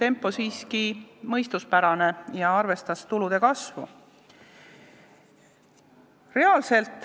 ... oli see siiski mõistuspärane ja arvestas tulude kasvu.